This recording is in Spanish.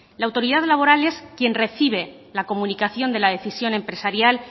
la autoridad laboral es quien recibe la comunicación de la decisión empresarial